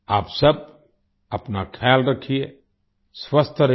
आप सब अपना ख्याल रखिए स्वस्थ रहिए